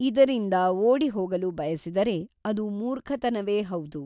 ಇದರಿಂದ ಓಡಿಹೊಗಲು ಬಯಸಿದರೆ ಅದು ಮೂರ್ಖತನವೇ ಹೌದು.